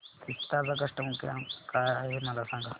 विस्तार चा customer care क्रमांक काय आहे मला सांगा